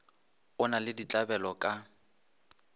o na le ditlabelo ka